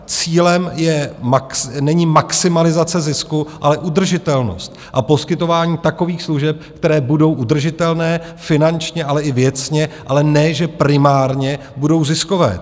Cílem není maximalizace zisku, ale udržitelnost a poskytování takových služeb, které budou udržitelné finančně, ale i věcně, ale ne že primárně budou ziskové.